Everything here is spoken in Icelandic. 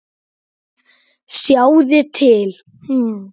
Sjáiði til!